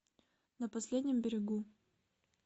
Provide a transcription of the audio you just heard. на последнем берегу